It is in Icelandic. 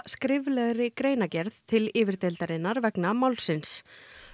skriflegri greinargerð til yfirdeildarinnar vegna málsins